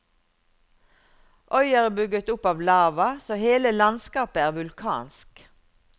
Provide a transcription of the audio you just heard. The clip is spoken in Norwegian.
Øya er bygget opp av lava, så hele landskapet er vulkansk.